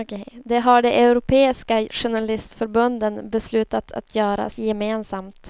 Det har de europeiska journalistförbunden beslutat att göra gemensamt.